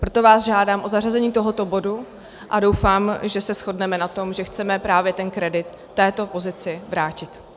Proto vás žádám o zařazení tohoto bodu a doufám, že se shodneme na tom, že chceme právě ten kredit této pozici vrátit.